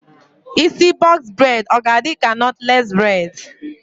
Isi bọks bred ọ ga-adịka nọtles bred?